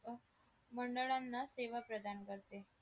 अ मंडळांना सेवा प्रदान करते